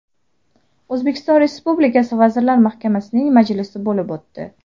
O‘zbekiston Respublikasi Vazirlar Mahkamasining majlisi bo‘lib o‘tdi.